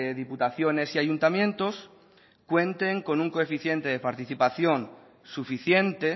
diputaciones y ayuntamientos cuenten con un coeficiente de participación suficiente